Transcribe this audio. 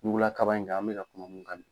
Ɲugulakaba in kan an bɛ ka kuma mun kan